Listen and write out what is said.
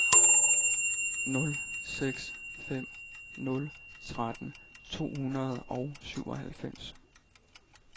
nul seks fem nul tretten to hundrede og syvoghalvfems